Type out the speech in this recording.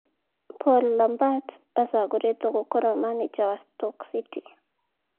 Paul Lambert acagũrĩtwe gũkorwo maneja wa Stoke City